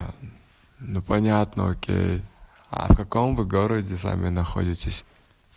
ну понятно окей а в каком вы городе сами находитесь